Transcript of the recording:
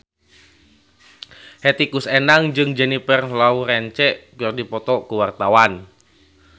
Hetty Koes Endang jeung Jennifer Lawrence keur dipoto ku wartawan